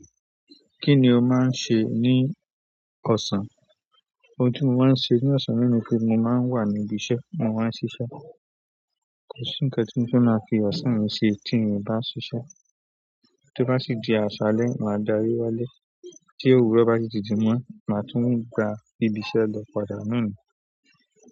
Kí ni o máa ń ṣe ní ọ̀sán? Òun ti mo máa ń ṣe ní ọ̀sán náà ni pé mo máa wà ní ibi iṣẹ́, mo máa ń ṣiṣẹ́. Kò sí nkán tí mo fẹ́ máa fi ọ̀sán mi ṣe tí n ò bá ṣiṣẹ́. Tí ó bá sì di àṣálẹ́, màá darí wálé. Tí òwúrọ̀ bá si tún ti mọ́, màá tún gba ibi iṣẹ́ lọ padà náà nì.